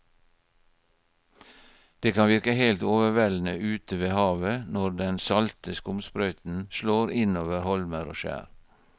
Det kan virke helt overveldende ute ved havet når den salte skumsprøyten slår innover holmer og skjær.